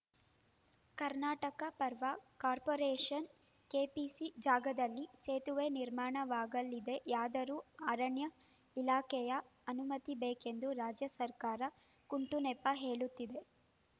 Karnataka power corporation KPC ಜಾಗದಲ್ಲಿ ಸೇತುವೆ ನಿರ್ಮಾಣವಾಗಲಿದೆಯಾದರೂ ಅರಣ್ಯ ಇಲಾಖೆಯ ಅನುಮತಿಬೇಕೆಂದು ರಾಜ್ಯ ಸರ್ಕಾರ ಕುಂಟು ನೆಪ ಹೇಳುತ್ತಿದೆ